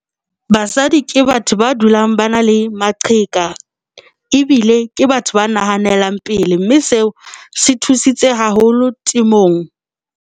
Basadi ke batho ba dulang ba na le maqheka, ebile ke batho ba nahanelang pele mme seo se thusitse haholo temong.